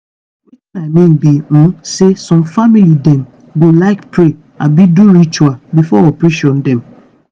wetin i mean be um say some family dem go like pray abi do ritual before operation dem.